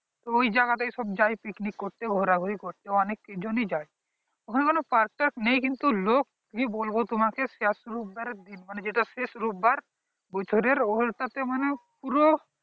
তো ওই জায়গা তে সব যায় picnic করতে ঘোরাঘুড়ি করতে অনেক জনই যায় ওখানে কোনো park টার্ক নেই কিন্তু লোক কি বলবো তোমাকে শেষ রবিবারে মানে যেটা শেষ রবিবার . ওই টা তে মানে পুরো